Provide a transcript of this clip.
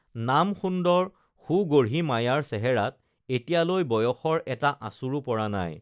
নাম সুন্দৰ সুগঢ়ী মায়াৰ চেহেৰাত এতিয়ালৈ বয়সৰ এটা আঁচোৰো পৰা নাই